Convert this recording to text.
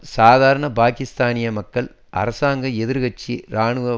சாதாரண பாக்கிஸ்தானிய மக்கள் அரசாங்கம் எதிர் கட்சி இராணுவம்